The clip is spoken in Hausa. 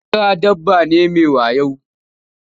Ɓera dabba ne mai wayo.